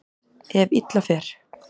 Ef illa fer.